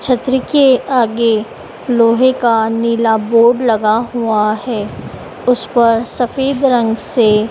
छतरी के आगे लोहे का नीला बोर्ड लगा हुआ है उसपर सफेद रंग से --